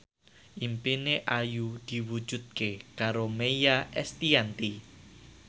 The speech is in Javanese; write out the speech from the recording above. impine Ayu diwujudke karo Maia Estianty